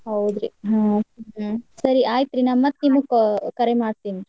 ಹೌದ್ರಿ ಹಾ ಸರಿ ಅಯಿತ್ರಿ ನಾ ಮತ್ತ್ ನಿಮಗ ಕ~ ಕರೆ ಮಾಡ್ತೀನಿ.